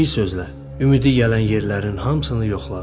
Bir sözlə, ümidi gələn yerlərin hamısını yoxladı.